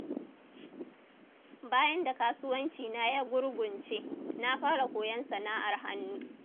Bayan da kasuwanci na ya gurgunce, na fara koyon sana'ar hannu